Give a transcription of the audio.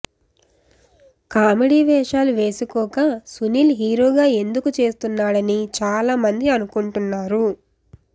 comedy వేషాలు వేసుకోక సునీల్ హీరోగా ఎందుకు చేస్తున్నాడని చాలా మంది అనుకుంటున్నారు